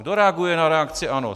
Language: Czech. Kdo reaguje na reakci ANO?